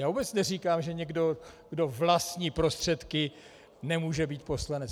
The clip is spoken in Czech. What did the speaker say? Já vůbec neříkám, že někdo, kdo vlastní prostředky, nemůže být poslanec.